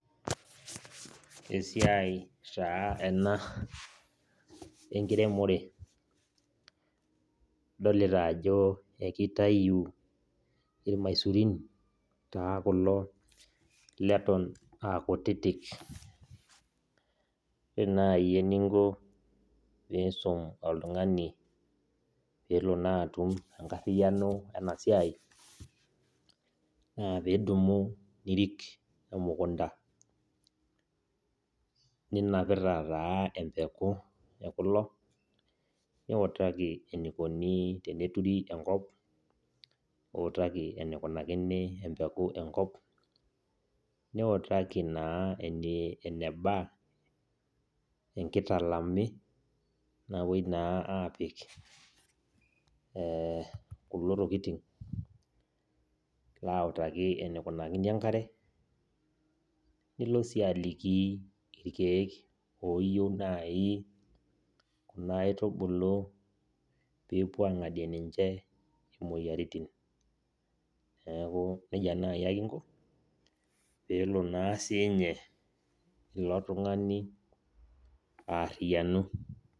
Esiai taa ena enkiremore adolita ajo akitau irmaisurin taa kulo leton aakutitik ,ore nai eningo peisum oltungani pelo na atum enkariano enasia na pidumu arik emukunda ninapita taa empuku ekulo niutaki enikoni teneturi enkop, niutaki enikunakini empeku enkop niutaki na eneba enkitalami napuoi na apik e kulo tokitin ilo autaki enikunakini enkare nilo si aliki irkiek oyieu na kuna aitubulu pepuo angadie ninche moyiaritin, neaku nejia nai ake inko pelo na sinye ilotungani aariyanu.